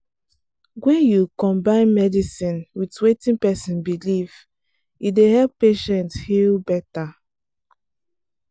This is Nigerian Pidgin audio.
when you combine medicine with wetin person believe e dey help patient heal better.